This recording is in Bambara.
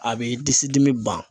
A bɛ disi dimi ban.